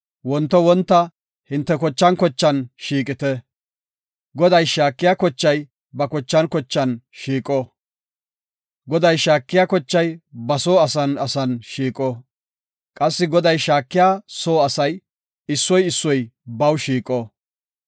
Wonto wonta, hinte zariyan zariyan shiiqite. Goday shaakiya zarey ba kochan kochan shiiqo. Goday shaakiya kochay ba soo asan asan shiiqo; qassi Goday shaakiya soo asay, issoy issoy baw shiiqo.